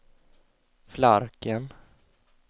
Flarken